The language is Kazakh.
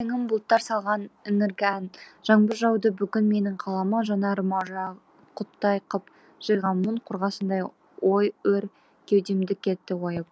бұл өлеңім бұлттар салған іңіргі ән жаңбыр жауды бүгін менің қалама жанарыма жақұттай қып жиғам мұң қорғасын ой өр кеудемді кетті ойып